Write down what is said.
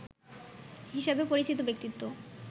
হিসেবে পরিচিত ব্যক্তিত্ব